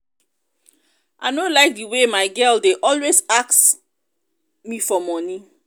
i no like the way my girl dey always ask always ask me for money